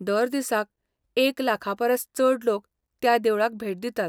दर दिसाक एक लाखापरस चड लोक त्या देवळाक भेट दितात.